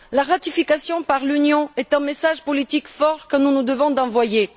La ratification par l'Union est un message politique fort que nous nous devons d'envoyer.